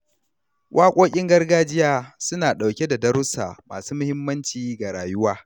Waƙoƙin gargajiya suna ɗauke da darussa masu muhimmanci ga rayuwa.